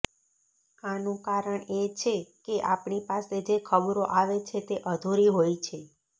આનું કારણ એ છે કે આપણી પાસે જે ખબરો આવે છે તે અધૂરી હોય છે